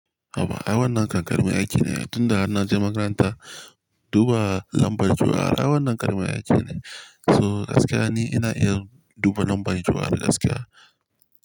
Awa, awon nan kan ƙaramin aiki ne. Tun da na je makaranta, duba lambar jua ai wannan karamin aiki ne. So gaskiya ne ina iya duba lambar jua da gaskiya.